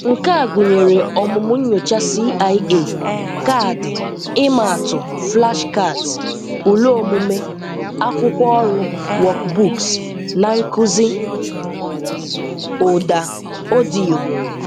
Nke a gụnyere ọmụmụ nyocha CIA, kaadị ịma atụ (flashcards), ule omume, akwụkwọ ọrụ (workbooks), na nkuzi ụda (ọdịyo).